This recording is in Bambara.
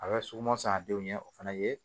A bɛ suguman san a denw ɲɛ o fana ye